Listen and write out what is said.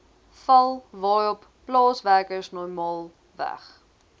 val waarop plaaswerkersnormaalweg